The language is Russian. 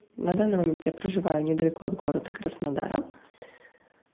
на данный момент я проживаю недалеко от города краснодара